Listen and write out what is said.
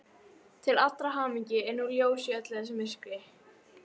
Til allrar hamingju er nú ljós í öllu þessu myrkri.